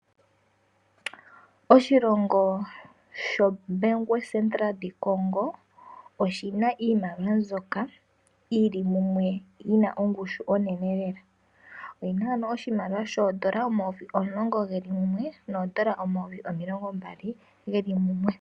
Oshilongo shoBanque Centrale Du Congo oshina iimaliwa mbyoka yili mumwe yina ongushu onene lela. Oyina ano oshimaliwa shoondola omayovi omulongo geli mumwe noondola omayovi omilongo mbali geli mumwe.